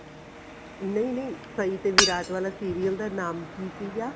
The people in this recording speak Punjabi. ਨਹੀਂ ਨਹੀਂ ਸਹੀ ਤੇ ਵਿਰਾਟ ਵਾਲਾ serial ਦਾ ਨਾਮ ਕਿ ਸੀਗਾ